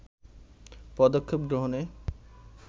পদক্ষেপ গ্রহণে